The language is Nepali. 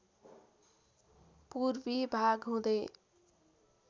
पूर्वी भाग हुँदै